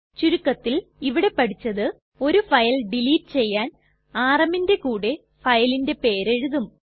ചുരുക്കത്തിൽ ഇവിടെ പഠിച്ചത് ഒരു ഫയൽ ഡിലീറ്റ് ചെയ്യാൻ rmന്റെ കൂടെ ഫയലിന്റെ പേര് എഴുതും